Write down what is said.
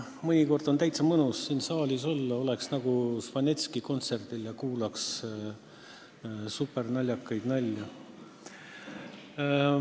Mõnikord on täitsa mõnus siin saalis olla – oleks nagu Žvanetski kontserdil ja kuulaks supernaljakaid nalju.